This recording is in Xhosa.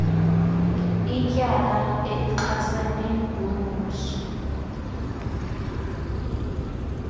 ilityala elichasene nombuso